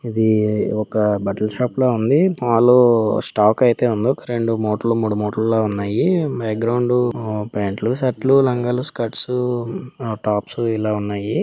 ఇది ఒక బట్టల షాప్ లా ఉంది. మాల్ స్టాక్ లో అయితే ఉంది. ఒక రెండు మూటలు మూడు మూటల్లా ఉన్నాయి. బ్యాక్ గ్రౌండ్ ప్యాంట్లు షర్ట్ లు లంగాలు స్కట్స్ టాప్ స్ ఇలా ఉన్నాయి.